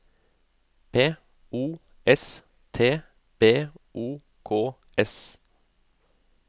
P O S T B O K S